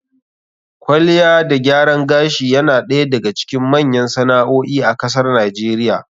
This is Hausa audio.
Kwalliya da gyaran gashi yana ɗaya daga cikin manyan sana'o'i a kasar NIGERIA.